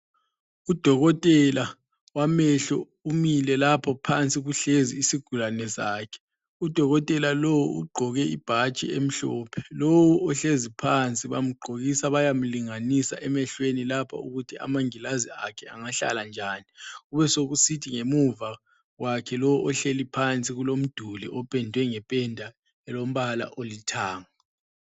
Udokotela wamehlo umile lapho, phansi kuhlezi isigulane sakhe. Udokotela lo ugqoke ibhatshi emhlophe. Lowu ohlezi phansi bamgqokisa bayamlinganisa emehlweni lapho ukuthi amangilazi akhe angahlala njani. Besekusithi ngemuva kwakhe lo ohleli phansi kulomduli opendwe ngependa elombala olithanga.